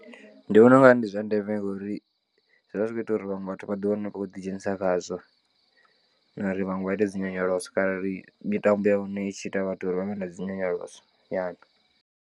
Ndi vhona ungari ndi zwa ndeme ngori zwivha zwi kho ita uri vhaṅwe vhathu vhaḓi wane vha kho ḓi dzhenisa khazwo na uri vhanwe vha ite dzinyonyoloso kharali mitambo ya hone itshi ita vhathu uri vha vhe na dzinyonyoloso nyana.